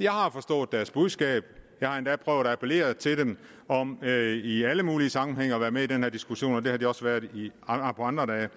jeg har forstået deres budskab jeg har endda prøvet at appellere til dem om i alle mulige sammenhænge at være med i den her diskussion og det har de også været andre dage